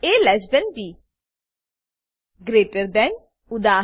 એ B greater than greater then ઉદા